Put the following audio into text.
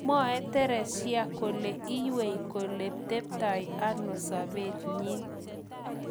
Mwae Thereshia kole iywei kole teptai ano sapet nyi.